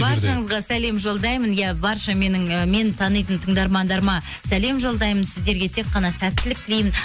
баршаңызға сәлем жолдаймын иә барша ы мені танитын тыңдармандарыма сәлем жолдаймын сіздерге тек қана сәттілік тілеймін